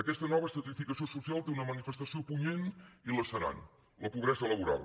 aquesta nova estratificació social té una manifestació punyent i lacerant la pobresa laboral